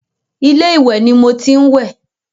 Ilé ìwẹ̀ ni mo tí ń wẹ̀.